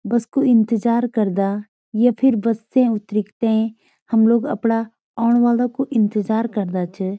बस कु इन्तजार करदा य फिर बस से उतरीक् तें हम लोग अपड़ा ओण वला कु इन्तजार करदा च।